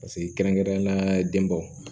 Paseke kɛrɛnkɛrɛnnenyala denbaw